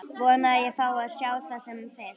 Vona að ég fái að sjá það sem fyrst.